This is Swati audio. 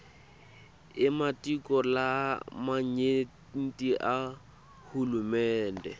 ematiko lamanyenti ahulumende